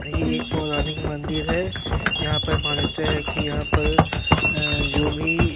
ये एक पौराणिक मंदिर है। यहाँ पर मान्यता है कि यहाँ पर अ जो भी --